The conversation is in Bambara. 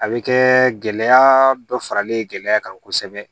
A bɛ kɛ gɛlɛya dɔ faralen gɛlɛya kan kosɛbɛ